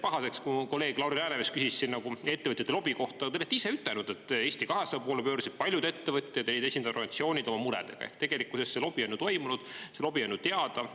pahaseks, kui kolleeg Lauri Läänemets küsis siin nagu ettevõtjate lobi kohta, te olete ise ütelnud, et Eesti 200 poole pöördusid paljud ettevõtjad, esindusorganisatsioonid oma muredega, ehk tegelikkusesse see lobi on toimunud, see lobi on ju teada.